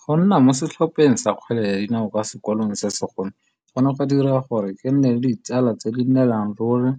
Go nna mo setlhopheng sa kgwele ya dinao kwa sekolong se segolo, go ne ga dira gore ke nne le ditsala tse di nnelang ruri